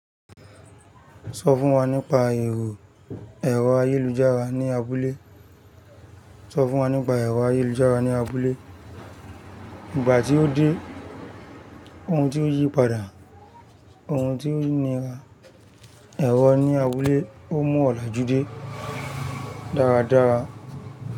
So fún nípa ero ẹrọ ayélujára ni abúlé? Sọ fún wa nípa ẹ̀rọ ayélujára ní abúlé. Ìgbà tí ó dé, ohun tí ó yí padà, ohun tí ó nira, ẹ̀rọ ní abúlé ó mú ọláju dé dáradára.